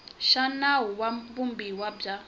xa nawu wa vumbiwa bya